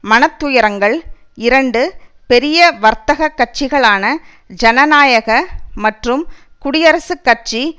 மனத்துயரங்கள் இரண்டு பெரிய வர்த்தக கட்சிகளான ஜனநாயக மற்றும் குடியரசுக் கட்சி